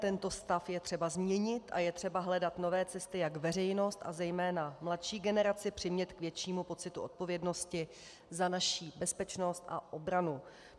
Tento stav je třeba změnit a je třeba hledat nové cesty, jak veřejnost a zejména mladší generaci přimět k většímu pocitu odpovědnosti za naši bezpečnost a obranu.